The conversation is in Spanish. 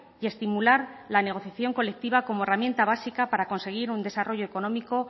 y estimular la negociación colectiva como herramienta básica para conseguir un desarrollo económico